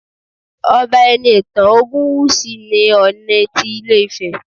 Ọba Enitan Ogunwusi ni Ooni ti ilé Ifẹ